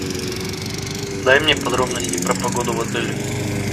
дай мне подробности про погоду в отеле